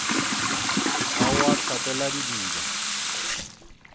ga o a hlapela didiba